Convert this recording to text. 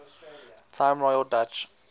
time royal dutch